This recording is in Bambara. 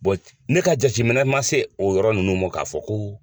ne ka jateminɛ ma se o yɔrɔ ninnu ma k'a fɔ ko.